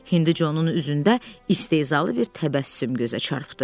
Hinduconun üzündə istehzalı bir təbəssüm gözə çarpdı.